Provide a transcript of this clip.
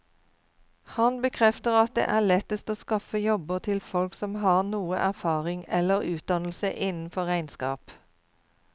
Han bekrefter at det er lettest å skaffe jobber til folk som har noe erfaring eller utdannelse innenfor regnskap.